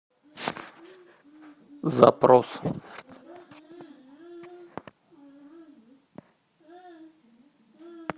запрос